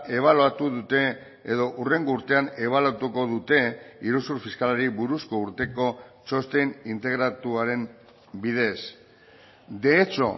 ebaluatu dute edo hurrengo urtean ebaluatuko dute iruzur fiskalari buruzko urteko txosten integratuaren bidez de hecho